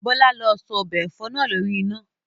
Bọ́lá lọ sọ ọbẹ̀ ẹ̀fọ́ náà lórí iná!